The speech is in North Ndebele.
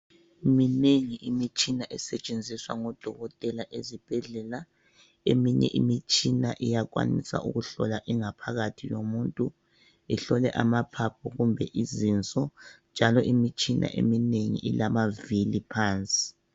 Minengi imitshina esetshenziswa ngodokotela esibhedlela. Eminye imitshina iyakwanisa ukuhlola ingaphakathi yomuntu, ihlole amaphaphu kumbe izinso ,njalo imitshina eminengi ilamavili phansi.